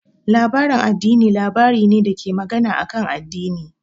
Labarin addini labari ne dake magana akan addini.